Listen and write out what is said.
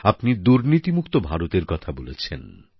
আপনি দুর্নীতিমুক্ত ভারতের কথা বলেছেন